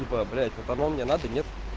типа блять вот оно мне надо нет